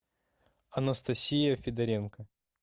анастасия федоренко